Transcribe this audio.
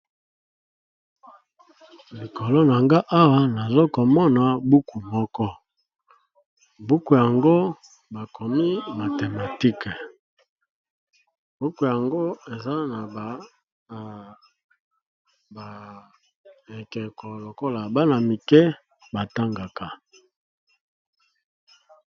Likolo na nga awa nazomona buku moko buku yango bakomi mathématiques eza na ba ekeko bana mike ba tangaka.